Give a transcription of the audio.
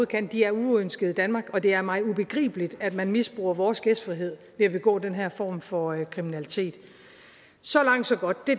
kan de er uønskede i danmark og det er mig ubegribeligt at man misbruger vores gæstfrihed ved at begå den her form for kriminalitet så langt så godt det